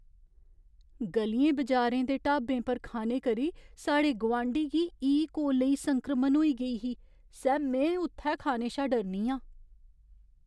ग'लियें बजारें दे ढाबें पर खाने करी साढ़े गोआंढी गी ई कोलेई संक्रमण होई गेई ही सै में उत्थै खाने शा डरनी आं।